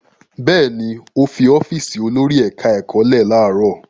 Bẹ́ẹ̀ ni, ó fi ọ́fíísì olórí ẹ̀ka-ẹ̀kọ́ lẹ̀ láàárọ̀.